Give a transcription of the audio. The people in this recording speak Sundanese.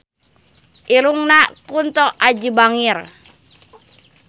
Irungna Kunto Aji bangir